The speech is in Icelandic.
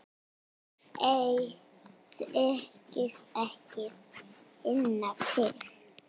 Segist ekki finna til.